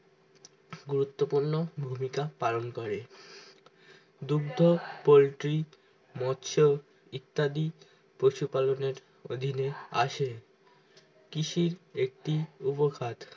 গুরুত্ব পূর্ণ ভূমিকা পালন করে দুগ্ধ পোল্ট্রি মৎস ইত্যাদি পশুপালন আর অধীন এ আসে কৃষি একটি উবখাদ